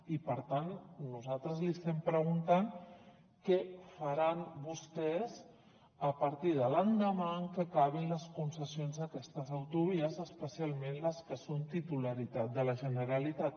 i per tant nosaltres li estem preguntant què faran vostès a partir de l’endemà en què acabin les concessions a aquestes autovies especialment les que són titularitat de la generalitat